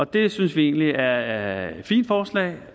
det synes vi egentlig er et fint forslag